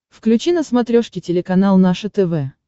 включи на смотрешке телеканал наше тв